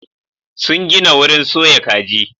Sun gina wurin soya kaji.